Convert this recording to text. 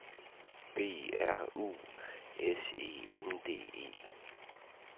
B R U S E N D E